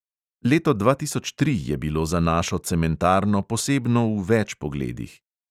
Leto dva tisoč tri je bilo za našo cementarno posebno v več pogledih.